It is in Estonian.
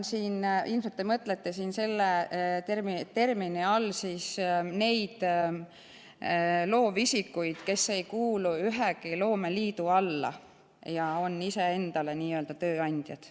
Ilmselt te mõtlete selle termini all neid loovisikuid, kes ei kuulu ühegi loomeliidu alla ja on iseendale tööandjad.